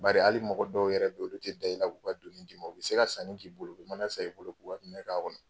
Bari hali mɔgɔ dɔw yɛrɛ bɛ yen, olu tɛ da i la k'u ka donni d'i ma, u bɛ se ka sani k'i bolo, u mana san i bolo k'u ka minɛn k'a kɔnɔ.